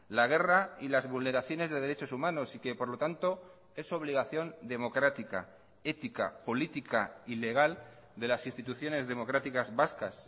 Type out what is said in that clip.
la guerra y las vulneraciones de derechos humanos y que por lo tanto es obligación democrática ética política y legal de las instituciones democráticas vascas